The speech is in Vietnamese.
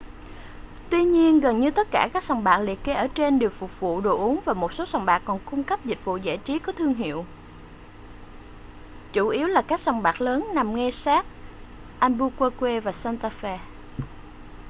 tuy nhiên gần như tất cả các sòng bạc liệt kê ở trên đều phục vụ đồ uống và một số sòng bạc còn cung cấp dịch vụ giải trí có thương hiệu chủ yếu là các sòng bạc lớn nằm ngay sát albuquerque và santa fe